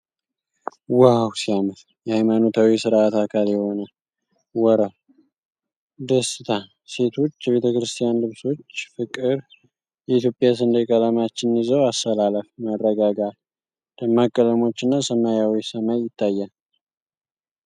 ዋው ሲያምር! የሃይማኖታዊ ሥርዓት አካል የሆነ ወርብ። ደስታ። ሴቶች የቤተክርስቲያን ልብሶች። ፍቅር። የኢትዮጵያ ሰንደቅ ዓላማዎችን ይዘው አሰላለፍ። መረጋጋት። ደማቅ ቀለሞችና ሰማያዊ ሰማይ ይታያል።